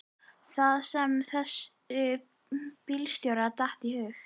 Það sem þessum bílstjóra datt í hug.